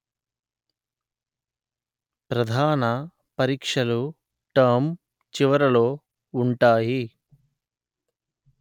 ప్రధాన పరీక్షలు టర్మ్ చివరలో ఉంటాయి